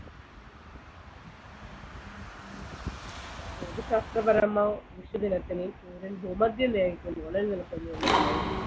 ഭൂമിശാസ്ത്രപരമോ നിൽക്കുന്നു എന്ന് പറയപ്പെടുന്നു